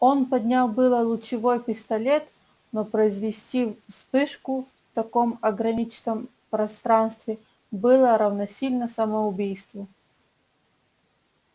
он поднял было лучевой пистолет но произвести вспышку в таком ограниченном пространстве было равносильно самоубийству